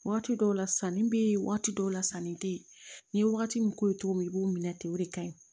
Waati dɔw la sanni be yen waati dɔw la sanni te yen n'i ye wagati min k'o ye togo min i b'o minɛ ten o de ka ɲi